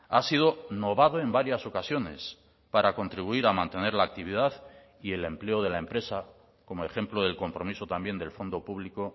ha sido novado en varias ocasiones para contribuir a mantener la actividad y el empleo de la empresa como ejemplo del compromiso también del fondo público